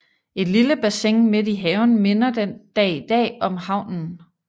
Et lille bassin midt i haven minder den dag i dag om havnen